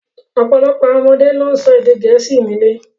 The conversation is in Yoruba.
Ọ̀pọ̀lọpọ̀ àwọn ọmọdé ló ń sọ èdè Gẹ̀ẹ́sì nílé